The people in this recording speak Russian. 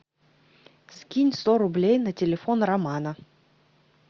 скинь сто рублей на телефон романа